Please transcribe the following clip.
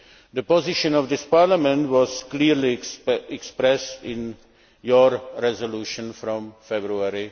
The position of this Parliament was clearly expressed in your resolution of February